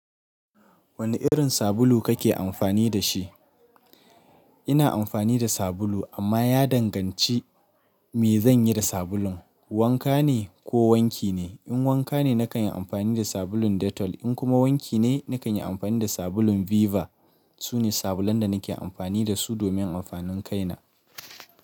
Wane irin sabulu kake amfani da shi? Ina amfani da sabulu amma ya danganci me zanyi da sabulun. Wanka ne ko wanki ne? In wanka ne nakan yi amfani da sabulun Dettol, in kuma wanki ne, nakan yi amfani da sabulun Viva. Sune sabulan da nake amfani da su domin amfanin kaina.